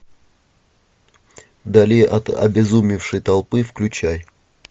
в дали от обезумевшей толпы включай